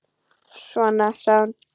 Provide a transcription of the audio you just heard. Svona, sagði hún.